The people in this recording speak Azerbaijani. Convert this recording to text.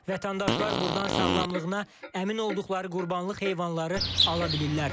Vətəndaşlar burdan sağlamlığına əmin olduqları qurbanlıq heyvanları ala bilirlər.